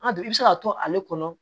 An dun i bɛ se ka to ale kɔnɔ